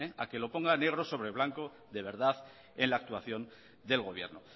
a que lo ponga negro sobre blanco de verdad en la actuación del gobierno